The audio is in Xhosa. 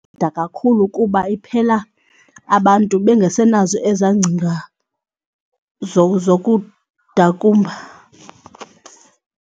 kakhulu kuba iphela abantu bengasenazo eza ngcinga zokudakumba.